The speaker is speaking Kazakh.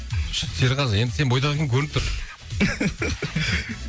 серғазы енді сенің бойдақ екенің көрініп тұр